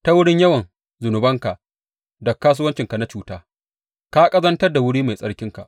Ta wurin yawan zunubanka da kasuwancinka na cuta ka ƙazantar da wuri mai tsarkinka.